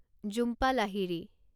Jhumpa Lahiri